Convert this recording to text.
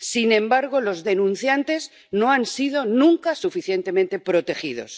Sin embargo, los denunciantes no han sido nunca suficientemente protegidos.